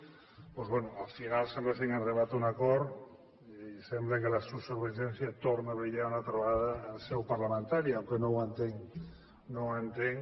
doncs bé al final sembla que han arribat a un acord i sembla que la sociovergència torna a brillar una altra vegada en seu parlamentària encara que no ho entenc no ho entenc